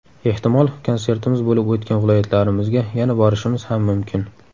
Ehtimol, konsertimiz bo‘lib o‘tgan viloyatlarimizga yana borishimiz ham mumkin.